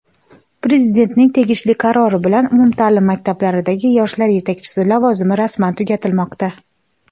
Prezidentning tegishli qarori bilan umumtaʼlim maktablaridagi yoshlar yetakchisi lavozimi rasman tugatilmoqda.